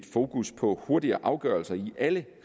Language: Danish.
fokus på hurtigere afgørelser i alle